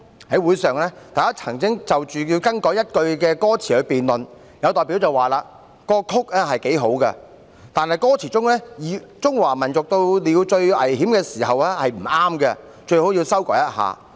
"在會上，大家曾就是否更改一句歌詞辯論，有代表表示："曲子很好，但歌詞中有'中華民族到了最危險的時候'，不妥，最好詞修改一下。